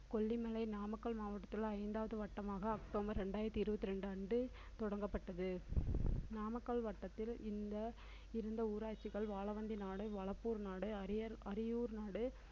கொல்லிமலை நாமக்கல் மாவட்டத்தில் உள்ள ஐந்தாவது வட்டமாக அக்டோபர் இரண்டாயிரத்தி இருபத்தி இரண்டு அன்று தொடங்கப்பட்டது நாமக்கல் வட்டத்தில் இந்த இருந்த ஊராட்சிகள் வாழவண்டி நாடு வளப்பூர் நாடு அரியர்~ அரியூர் நாடு